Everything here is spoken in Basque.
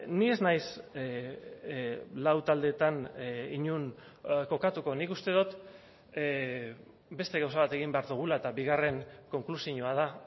ni ez naiz lau taldeetan inon kokatuko nik uste dut beste gauza bat egin behar dugula eta bigarren konklusioa da